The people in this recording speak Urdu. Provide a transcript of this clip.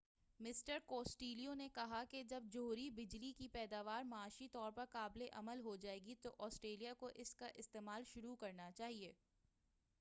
مسٹر کوسٹیلو نے کہا کہ جب جوہری بجلی کی پیداوار معاشی طور پر قابل عمل ہو جائے گی تو آسٹریلیا کو اس کا استعمال شروع کرنا چاہئے